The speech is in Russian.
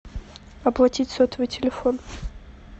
оплатить сотовый телефон